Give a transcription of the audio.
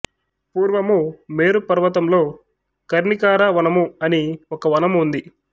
పూర్వము మేరు పర్వతంలో కర్ణికార వనము అని ఒక వనము ఉంది